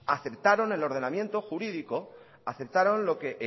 aceptaron el ordenamiento jurídico aceptaron lo que